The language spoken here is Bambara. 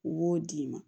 U b'o d'i ma